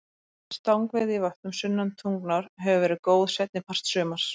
Stangveiði í vötnum sunnan Tungnár hefur verið góð seinni part sumars.